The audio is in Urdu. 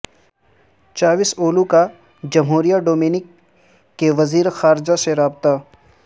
چاوش اولو کا جمہوریہ ڈومینیک کے وزیر خارجہ سے رابطہ